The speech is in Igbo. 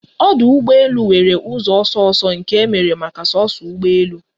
Ọdụ ụgbọ elu nwere ụzọ ọsọ ọsọ nke emere maka soso ụgbọ elu